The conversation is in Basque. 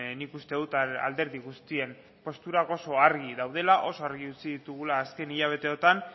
nik uste dut alderdi guztien posturak oso argi daudela oso argi utzi ditugula azken hilabeteotan